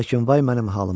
Lakin vay mənim halıma!